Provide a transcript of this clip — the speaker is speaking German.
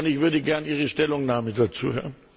Ich würde gerne Ihre Stellungnahme dazu hören.